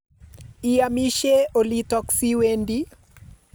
Iamishe olitok si wendi